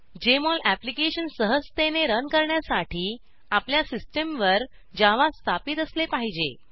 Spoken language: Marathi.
जेएमओल अप्लिकेशन सहजतेने रन करण्यासाठी आपल्या सिस्टमवर जावा स्थापित असले पाहिजे